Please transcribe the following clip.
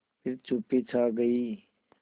फिर चुप्पी छा गई